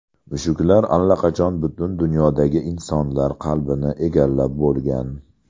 Mushuklar allaqachon butun dunyodagi insonlar qalbini egallab bo‘lgan.